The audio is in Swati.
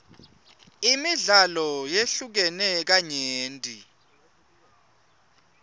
imidlalo yehlukene kanyenti